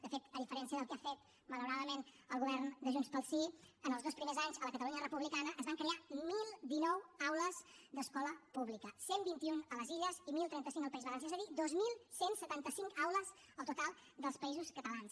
de fet a diferència del que ha fet malauradament el govern de junts pel sí en els dos primers anys a la catalunya republicana es van crear deu deu nou aules d’escola pública cent i vint un a les illes i deu trenta cinc al país valencià és a dir dos mil cent i setanta cinc aules al total dels països catalans